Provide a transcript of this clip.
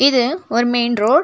இது ஒரு main road .